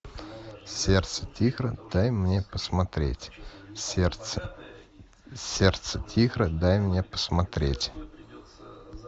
сердце тигра дай мне посмотреть сердце сердце тигра дай мне посмотреть